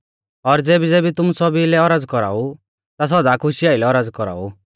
और ज़ेबी केबी तुमु सौभी लै औरज़ कौराउ ता सौदा खुशी आइलै औरज़ कौराउ